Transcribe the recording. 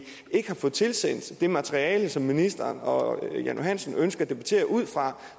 ikke har fået tilsendt det materiale som ministeren og jan johansen ønsker at debattere ud fra